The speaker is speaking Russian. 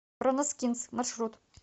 броноскинс маршрут